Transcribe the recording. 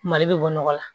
Mali bɛ bɔ nɔgɔ la